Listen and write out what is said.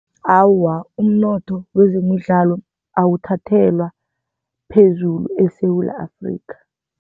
Awa, umnotho wezemidlalo awuthathelwa phezulu eSewula Afrika.